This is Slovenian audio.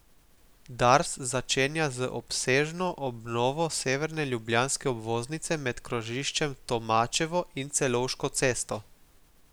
Dars začenja z obsežno obnovo severne ljubljanske obvoznice med krožiščem Tomačevo in Celovško cesto.